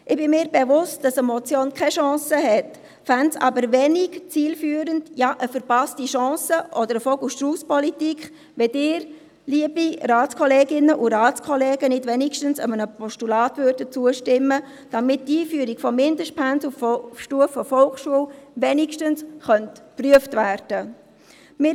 Ich bin mir bewusst, dass eine Motion keine Chance hat, fände es aber wenig zielführend, ja eine verpasste Chance oder eine Vogel-Strauss-Politik, wenn Sie, liebe Ratskolleginnen und Ratskollegen, nicht wenigstens einem Postulat zustimmten, damit die Einführung von Mindestpensen auf Stufe Volksschule wenigstens geprüft werden könnte.